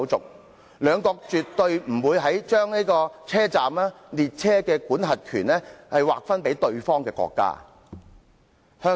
英法兩國絕對不會把車站及列車的管轄權劃分予對方國家。